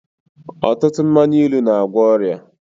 Ọtụtụ mmanya ilu n'agwọ ọrịa